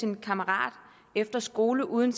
en kammerat efter skole uden